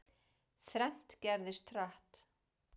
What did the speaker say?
Þrennt gerðist, hratt.